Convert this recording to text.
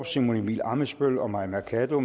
simon emil ammitzbøll og mai mercado